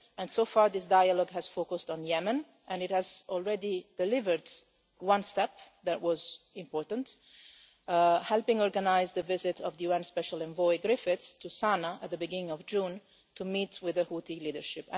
UK. So far this dialogue has focused on Yemen and it has already delivered one step that was important helping organise the visit of the UN special envoy Mr Griffiths to Sana'a at the beginning of June, to meet with the Houthi leadership.